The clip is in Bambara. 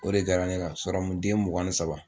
O de kɛra ne la den mugan ni saba